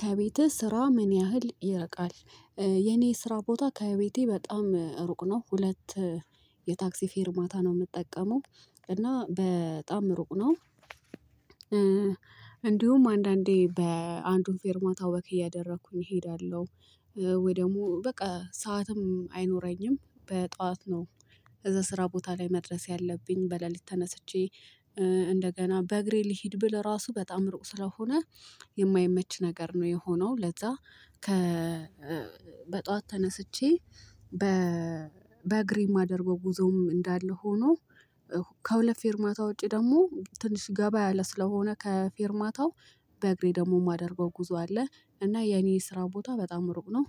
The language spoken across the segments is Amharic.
ከቤትህ ስራ ምን ያህል ይርቃል? የኔ ስራ ቦታ ከቤቴ በጣም ሩቅ ነው ሁለት የታክሲ ፌር ማታ ነው የምጠቀመው እና በጣም ሩቅ ነው። እንዲሁም አንዳንዴ አንዱን ፌርማታ ወክ እያደረኩኝ እሄዳለሁ። ወይ ደግሞ በቃ ሰዓትም አይኖረኝም በጧት ነው። ከዛ ስራ ቦታ ላይ መድረስ ያለብኝ በሌሊት ተነስቼ እንደገና በእግሬ ልሂድ ብል ራሱ በጣም እሩቅ ስለሆነ የማይመች ነገር ነው። የሆነው ለዛ ከ በጧት ተነስቼ በ በእግሬም ማደር ጉዞም እንዳለ ሆኖ ከሁለት ፌርማታ ውጪ ደግሞ ትንሽ ገባ ያለ ስለሆነ ከፌርማታው በእግሬ ደግሞ የማደርገው ጉዞ አለ። እና የኔ ስራ ቦታ በጣም እሩቅ ነው።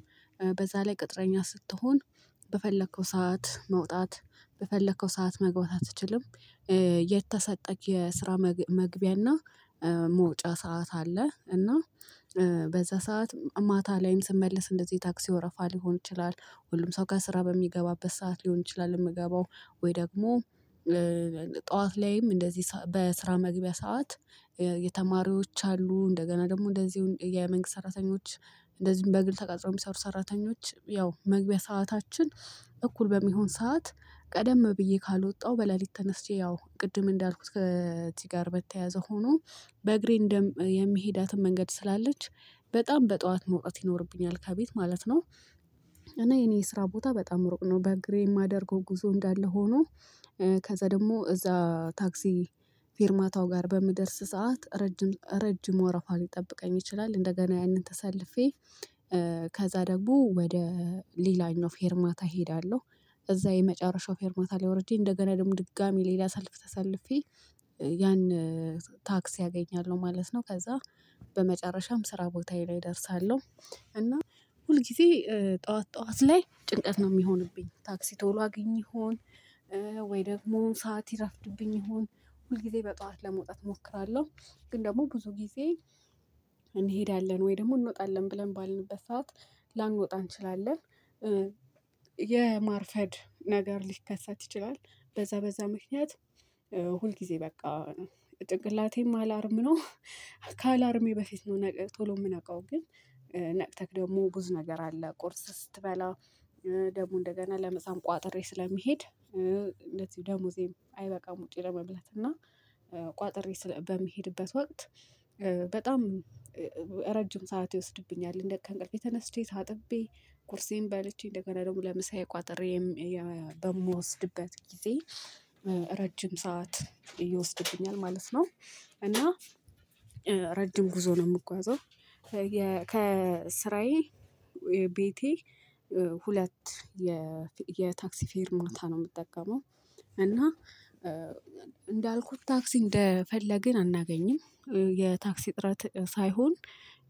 በዛ ላይ ቅጥረኛ ስትሆን በፈለከው ሰዓት መውጣት በፈለከው ሰዓት መግባት አትችልም። የተሰጠክ የስራ መግቢያና መውጫ ሰዓት አለ እና። በዛ ሰዓት ማታ ላይም ስመልስ እንደዚህ ታክሲ ወረፋ ሊሆን ይችላል። ሁሉም ሰው ከስራ በሚገባበት ሰዓት ሊሆን ይችላል የምገባው ወይ ደግሞ ጠዋት ላይም እንደዚህ በስራ መግቢያ ሰዓት የተማሪዎች አሉ እንደገና ደግሞ እንደዚሁ የመንግስት ሰራተኞች። እንደዚሁ በግል ተቃጥሮ የሚሰሩ ሰራተኞች ያው መግቢያ ሰዓታችን እኩል በሚሆን ሰዓት ቀደም ብዬ ካልወጣሁ በሌሊት ተነስቼ ያው ቅድም እንዳልኩት ከእዚህ ጋር በተያያዘ ሆኖ በእግሬ እንደም የምሄዳትን መንገድ ስላለች በጣም በጧት መውጣት ይኖርብኛል ከቤት ማለት ነው። እና የኔ ስራ ቦታ በጣም ሩቅ ነው በእግሬ የማደርገው ጉዞ እንዳለ ሆኖ ከዛ ደግሞ እዛ ታክሲ ፊርማታው ጋር በምደርስ ሰዓት ረጅም ረጅም ወረፋ ሊጠብቀኝ ይችላል። እንደገና ያንን ተሰልፌ ከዛ ደግሞ ወደ ሌላኛው ፌርማታ እሄዳለሁ። እዛ የመጨረሻው ፌርማታ ላይ ወርጄ እንደገና ደግሞ ድጋሚ ሌላ ሳልፍ ተሳልፌ ያን ታክሲ አገኛለሁ ማለት ነው ከዛ በመጨረሻም ስራ ቦታዬ ላይ እደርሳለሁ። እና ሁል ጊዜ ጠዋት ጠዋት ላይ ጭንቀት ነው የሚሆንብኝ ታክሲ ቶሎ አግኝ ይሆን ወይ ደግሞ ሰዓት ይረፍድብኝ ይሆን። ሁል ጊዜ በጧት ለመውጣት እሞክራለሁ። ግን ደግሞ ብዙ ጊዜ እንሄዳለን ወይ ደግሞ እንወጣለን ብለን ባልንበት ሰዓት ላንወጣ እንችላለን። የማርፈድ ነገር ሊከሰት ይችላል። በዛ በዛ ምክንያት ሁል ጊዜ በቃ ጭንቅላቴም አላርም ነው። ከአላርሜ በፊት ነው ቶሎ የምነቃው ግን ነቅቴክ ደግሞ ብዙ ነገር አለ ቁርስ ስትበላ ደግሞ እንደገና ምሳም ቋጥሬ ስለሚሄድ እንደዚሁ ደሞዜም አይበቃም። ውጪ ለመብላት እና ቋጥሬ ስለ በሚሄድበት ወቅት በጣም ረጅም ሰዓት ይወስድብኛል። እንደ ከእንቅልፌ ተነስቼ ታጥቤ ቁርሴን በለችኝ እንደገና ደግሞ ለምሳዬ ቋጠሬ በምወስድበት ጊዜ ረጅም ሰዓት ይወሰደብኛል ማለት ነው። እና ረጅም ጉዞ ነው የምጓዘው። ከስራዬ ቤቴ ሁለት የታክሲ ፌርማታ ነው የምጠቀመው። እና እንዳልኩት ታክሲ እንደፈለግን አናገኝም የታክሲ እጥረት ሳይሆን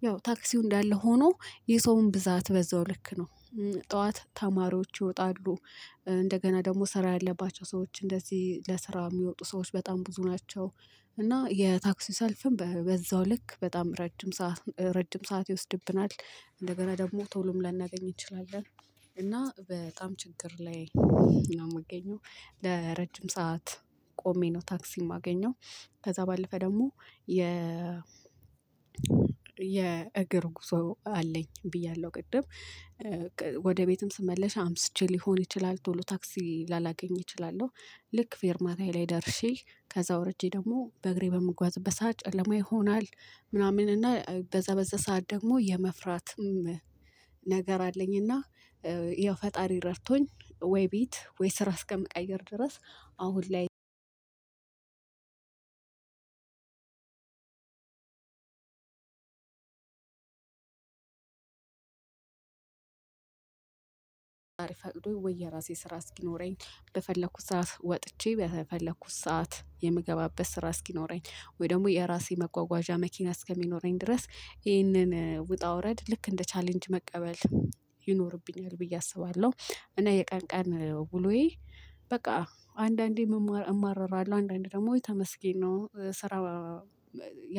ያው ታክሲው እንዳለ ሆኖ የሰውም ብዛት በዛው ልክ ነው። ጠዋት ተማሪዎች ይወጣሉ እንደገና ደግሞ ስራ ያለባቸው ሰዎች እንደዚህ ለስራ የሚወጡ ሰዎች በጣም ብዙ ናቸው። እና የታክሲ ሰልፍም በዛው ልክ በጣም ረጅም ረጅም ሰዓት ይወስድብናል እንደገና ደግሞ ቶሎም ላናገኝ እንችላለን። እና በጣም ችግር ላይ ነው የምገኘው። ለረጅም ሰዓት ቆሜ ነው ታክሲ የማገኘው። ከዛ ባለፈ ደግሞ የ የእግር ጉዞ አለኝ ብያለሁ ቅድም ወደ ቤትም ስመለ አምሽቼ ሊሆን ይችላል ቶሎ ታክሲ ላላገኝ እችላለሁ። ልክ ፌርታዬ ላይ ደርሼ ከዛ ወርጄ ደግሞ በእግሬ በምጓዝበት ሰዓት ጨለማ ይሆናል። ምናምን እና በዛበዛ ሰዓት ደግሞ የመፍራትም ነገር አለኝና። ያው ፈጣሪ ረድቶኝ ወይ ቤት ወይ ስራ አስከሚቀየር ድረስ አሁን ላይ። እግዛብሄር ፈቅዶ ወይ የራሴ ስራ እስኪኖረኝ በፈለኩት ሰዓት ወጥቼ በፈለኩት ሰዓት የምገባበት ስራ እስኪኖረኝ ወይ ደግሞ የራሴ መጓጓዣ መኪና እስከሚኖረኝ ድረስ ይህንን ውጣ ውረድ ልክ እንደ ቻሌንጅ መቀበል ይኖርብኛል ብዬ አስባለሁ። እና የቀን ቀን ውሎዬ በቃ አንዳንዴ አማረራለሁ አንዳንዴ ደግሞ ተመስገን ነው ስራ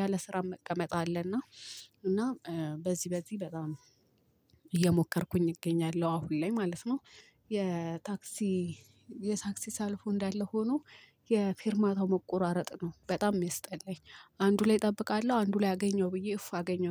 ያለ ስራ መቀመጥ አለና። እና በዚህ በዚህ በጣም እየሞከርኩኝ እገኛለሁ አሁን ላይ ማለት ነው። የታክሲ የታክሲ ሰልፉ እንዳለ ሆኖ የፊርማታው መቆራረጥ ነው በጣም የሚያስጠላኝ። አንዱ ላይ እጠብቃለሁ አንዱ ላይ አገኘው ብዬ እፍ አገኘው